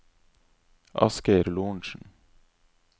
Asgeir Lorentsen